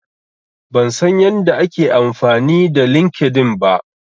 Ban san yadda ake amfani da LinkedIn ba.